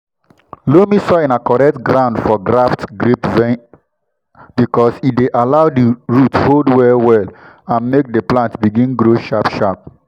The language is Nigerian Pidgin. loamy soil na correct ground for graft grapevine because e dey allow di root hold well-well and make di plant begin grow sharp-sharp.